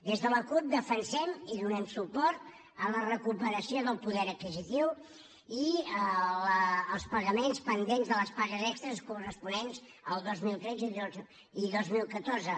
des de la cup defensem i donem suport a la recuperació del poder adquisitiu i als pagaments pendents de les pagues extres corresponents al dos mil tretze i dos mil catorze